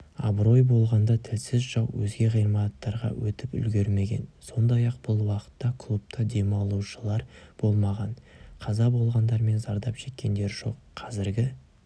абырой болғанда тілсіз жау өзге ғимараттарға өтіп үлгермеген сондай-ақ бұл уақытта клубта демалушылар болмаған қаза болғандар мен зардап шеккендер жоқ қазіргі